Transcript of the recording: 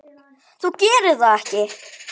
Þú gerir það ekki!